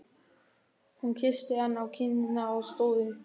Hún kyssti hann á kinnina og stóð upp.